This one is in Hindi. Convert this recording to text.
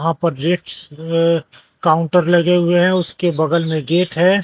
वहां पर अह काउंटर लगे हुए हैं उसके बगल में गेट है।